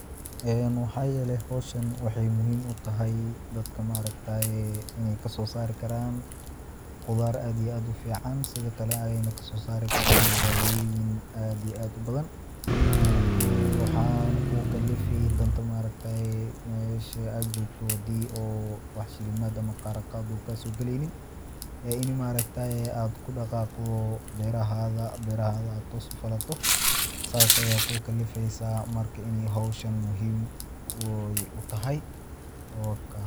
Waxaa yeele howshan waxaay muhiim utahay, dadka maargtaye ineey kasoo saari karaan, qudaar aad iyo aad ufican, sido kale waxeey kasoo saari karaan daawoyin aad ubadan, waxaana kugu kalifi danta meesha aad joogto, hadii oo wax shilimaad ama qaaran uu kaaso galeynin, in aad ku daqaaqdo beerahaaga, beerahaaga aad toos ufalato, saas ayaa kugu kalifeysa, marka howshan muhiim utahay wakaa.